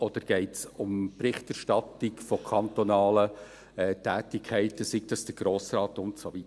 Oder geht es um die Berichterstattung über kantonale Tätigkeiten, sei es betreffend den Grossen Rat und so weiter?